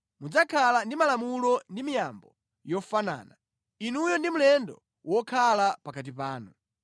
Mudzakhale ndi malamulo ndi miyambo yofanana, inuyo ndi mlendo wokhala pakati panu.’ ”